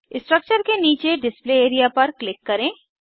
structure के नीचे display area पर क्लिक करें